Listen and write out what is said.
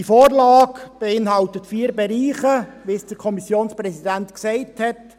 Diese Vorlage beinhaltet vier Bereiche, wie es der Kommissionspräsident gesagt hat;